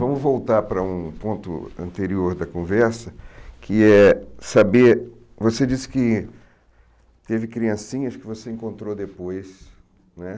Vamos voltar para um ponto anterior da conversa, que é saber... Você disse que teve criancinhas que você encontrou depois né.